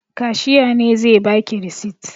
Kashiya ne zai ba ki risit.